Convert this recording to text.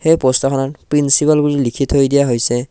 এই পষ্টাৰখনত প্ৰিন্সিপাল বুলি লিখি থৈ দিয়া হৈছে।